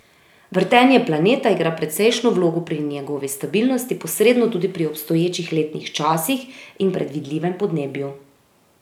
Vrtenje planeta igra precejšnjo vlogo pri njegovi stabilnosti, posredno tudi pri obstoječih letnih časih in predvidljivem podnebju.